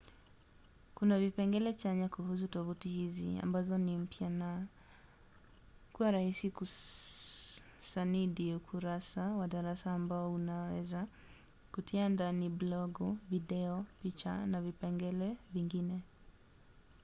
kuna vipengele chanya kuhusu tovuti hizi ambazo ni pamoja na kuwa rahisi kusanidi ukurasa wa darasa ambao unaweza kutia ndani blogu video picha na vipengele vingine